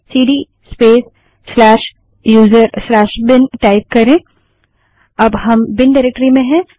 CD space user bin cd space usrबिन type करें अब हम बिन डाइरेक्टरी में हैं